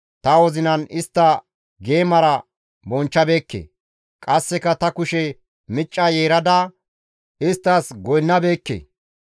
ta wozinan istta geemara bonchchabeeke; qasseka ta kushe micca yeerada isttas goynnabeekke.